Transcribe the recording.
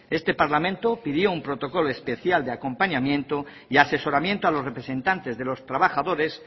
este parlamento pidió un protocolo especial de acompañamiento y asesoramiento a los representantes de los trabajadores